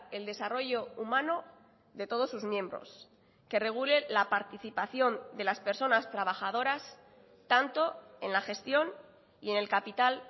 el desarrollo humano de todos sus miembros que regule la participación de las personas trabajadoras tanto en la gestión y en el capital